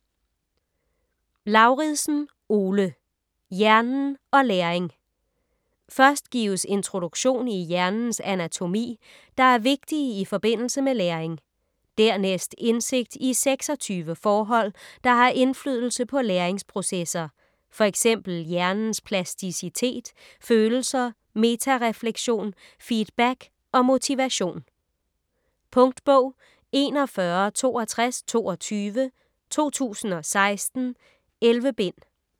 Lauridsen, Ole: Hjernen og læring Først gives introduktion i hjernens anatomi, der er vigtige i forbindelse med læring. Dernæst indsigt i 26 forhold, der har indflydelse på læringsprocesser, fx hjernens plasticitet, følelser, metarefleksion, feedback og motivation. Punktbog 416222 2016. 11 bind.